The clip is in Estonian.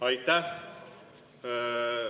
Aitäh!